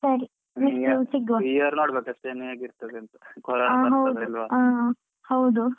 ಈ year ನೋಡ್ಬೇಕು ಇನ್ನು ಕೊರೋನಾ ಬರ್ತದ ಇಲ್ವಾ ಅಂತ.